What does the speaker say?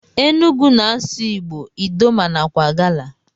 Enugu na asụ igbo, idoma nakwa agala.